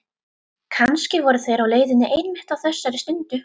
Kannski voru þeir á leiðinni einmitt á þessari stundu.